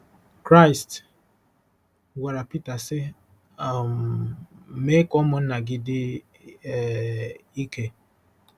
Kraịst gwara Pita, sị: “ um Mee ka ụmụnna gị dị um ike.